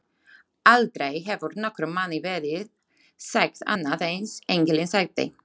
Aldrei hefur nokkrum manni verið sagt annað eins, engillinn sagði.